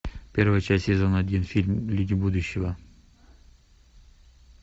первая часть сезон один фильм люди будущего